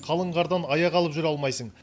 қалың қардан аяқ алып жүре алмайсың